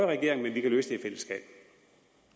regering men vi kan løse